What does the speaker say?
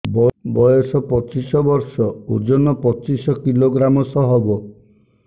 ବୟସ ପଚିଶ ବର୍ଷ ଓଜନ ପଚିଶ କିଲୋଗ୍ରାମସ ହବ